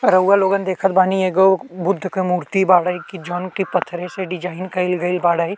रउआ लोगन देखत बानी एगो बुद्ध के मूर्ति बाड़े। जॉन की पत्थरे से डिज़ाइन कई गइल बाड़े।